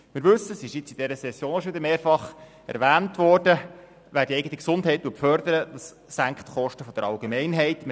In dieser Session wurde schon mehrfach erwähnt, dass Menschen, welche die eigene Gesundheit fördern, die Kosten der Allgemeinheit senken.